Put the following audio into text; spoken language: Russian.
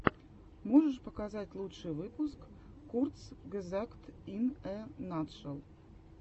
можешь показать лучший выпуск курцгезагт ин э натшел